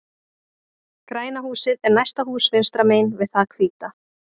Græna húsið er næsta hús vinstra megin við það hvíta.